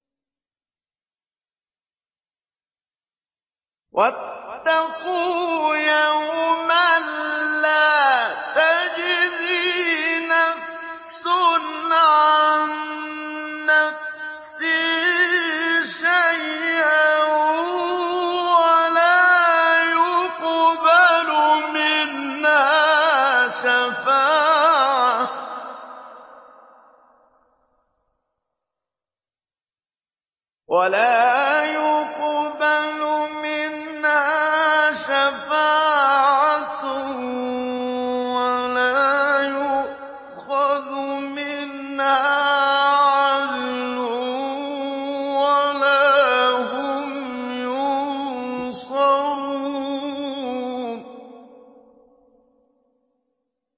وَاتَّقُوا يَوْمًا لَّا تَجْزِي نَفْسٌ عَن نَّفْسٍ شَيْئًا وَلَا يُقْبَلُ مِنْهَا شَفَاعَةٌ وَلَا يُؤْخَذُ مِنْهَا عَدْلٌ وَلَا هُمْ يُنصَرُونَ